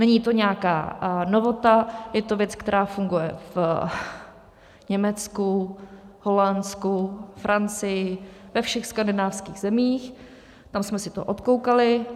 Není to nějaká novota, je to věc, která funguje v Německu, Holandsku, Francii, ve všech skandinávských zemích, tam jsme si to odkoukali.